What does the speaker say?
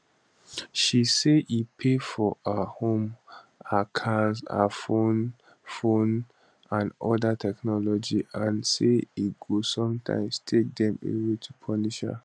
she say e pay for her home her cars her phone phone and oda technology and say e go sometimes take dem away to punish her